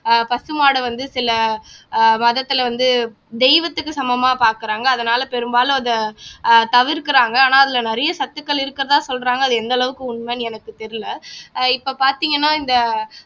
அஹ் பசுமாடை வந்து சில ஆஹ் மதத்திலே வந்து தெய்வத்துக்கு சமமா பாக்குறாங்க அதனாலே பெரும்பாலும் அத ஆஹ் தவிர்க்கிறாங்க ஆனா அதிலே நிறைய சத்துக்கள் இருக்கிறதா சொல்றாங்க அது எந்த அளவுக்கு உண்மைன்னு எனக்கு தெரியல அஹ் இப்ப பாத்தீங்கன்னா இந்த